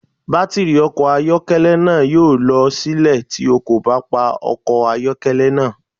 Batiri ọkọ ayọkẹlẹ naa yoo lọ silẹ ti o ko ba pa ọkọ ayọkẹlẹ naa